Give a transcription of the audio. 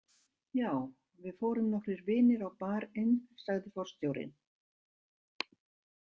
Já, við fórum nokkrir vinir á Bar- inn, sagði forstjórinn.